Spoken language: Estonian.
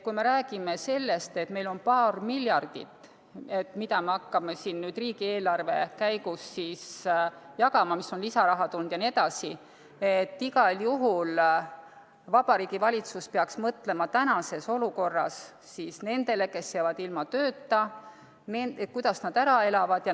Kui me räägime sellest, et meil on paar miljardit, mida me hakkame siin nüüd riigieelarve käigus jagama – mis on lisaraha tulnud jne –, siis igal juhul Vabariigi Valitsus peaks mõtlema tänases olukorras nendele, kes jäävad ilma tööta – kuidas nad ära elavad.